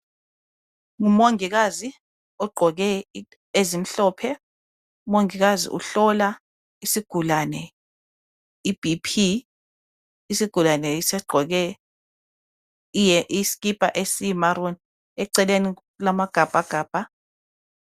ngumongikazi ogqoke ezimhlophe umongikazi uhlola isigulane i BP isigulane yiso esigqoke iskipa eyiyi maroon eceleni kulama gabhagabha